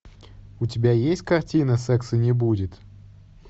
у тебя есть картина секса не будет